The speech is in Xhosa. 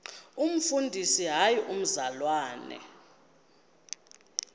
umfundisi hayi mzalwana